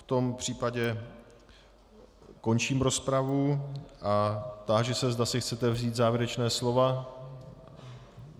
V tom případě končím rozpravu a táži se, zda si chcete vzít závěrečná slova.